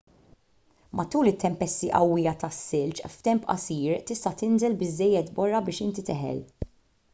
matul it-tempesti qawwija tas-silġ f'temp qasir tista' tinżel biżżejjed borra biex inti teħel